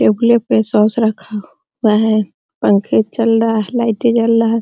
Table पे source रखा हुआ है पंखे चल रहा लाइटे जल रहा।